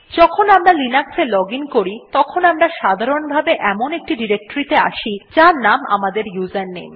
যখন আমরা লিনাক্স এ লজিন করি তখন আমরা সাধারণভাবে এমন একটি ডিরেক্টরীতে আসি যার নাম আমাদের ইউজারনেম